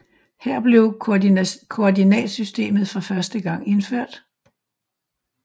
Her blev koordinatsystemet for første gang indført